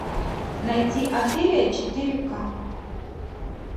найти офелия четыре ка